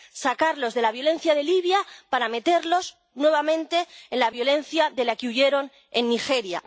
Sacarlos de la violencia de Libia para meterlos nuevamente en la violencia de la que huyeron en Nigeria.